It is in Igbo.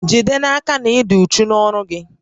Jide n'aka na ị dị uchu n'ọrụ gị